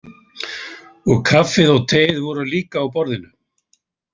Og kaffið og teið voru líka á borðinu?